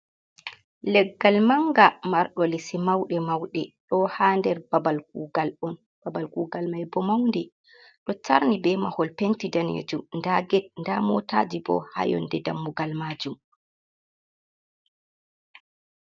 Leggal manga mardo lisi mauɗe mauɗe, ɗo ha nder babal on, babal kugal mai bo maundi, ɗo tarni be mahol penti danejum, nda get nda motaji bo ha yonde dammugal majum.